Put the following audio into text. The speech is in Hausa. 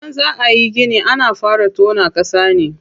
Idan za ayi gini ana fara tona ƙasa ne.